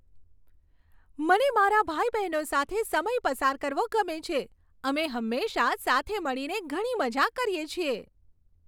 મને મારા ભાઈ બહેનો સાથે સમય પસાર કરવો ગમે છે. અમે હંમેશા સાથે મળીને ઘણી મજા કરીએ છીએ.